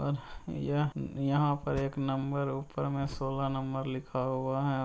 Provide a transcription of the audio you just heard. और यह यहाँ पर एक नंबर ऊपर में सोलह नंबर लिखा हुआ है।